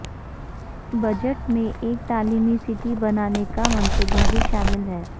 budget میں ایک تعلیمی سٹی بنانے کا منصوبہ بھی شامل ہے